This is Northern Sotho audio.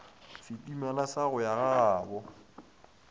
setimela sa go ya gagabo